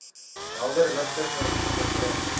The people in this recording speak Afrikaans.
helder ligte verblind